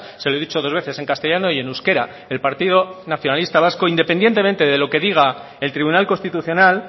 se lo he dicho dos veces en castellano y en euskera el partido nacionalista vasco independientemente de lo que diga el tribunal constitucional